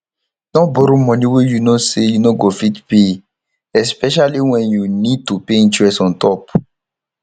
no borrow money wey you know sey you no go fit pay especiallly when you need to pay interest ontop